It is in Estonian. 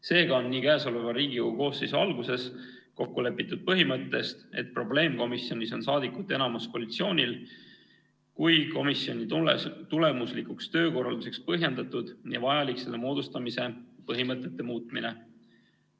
Seega on nii käesoleva Riigikogu koosseisu alguses kokku lepitud põhimõtte, et probleemkomisjonis on saadikute enamus koalitsioonil, kui ka komisjoni tulemusliku töökorralduse tagamiseks põhjendatud ja vajalik selle moodustamise põhimõtete muutmine.